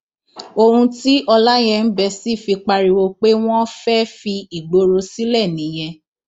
ohun tí ọláyẹǹbẹsì fi pariwo pé wọn fẹẹ fi ìgboro sílẹ nìyẹn